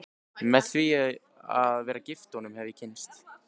Með því að vera gift honum hef ég kynnst